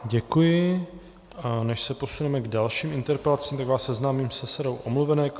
Děkuji, a než se posuneme k dalším interpelacím, tak vás seznámím se sadou omluvenek.